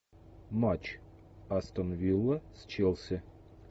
матч астон вилла с челси